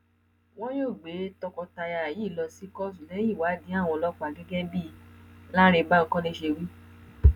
wọn yóò gbé tọkọtaya yìí lọ sí kóòtù lẹyìn ìwádìí àwọn ọlọpàá gẹgẹ bí cc lánrẹ bankole ṣe wí